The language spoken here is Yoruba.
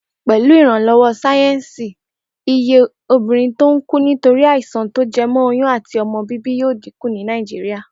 Pè̩lú ìrànló̩wó̩ sáyé̩nsì, iye obìnrin tó ń kú nítorí àìsàn tó je̩mo̩ oyún àti o̩mo̩ bíbí yóò dínkù ní Nàìjíríà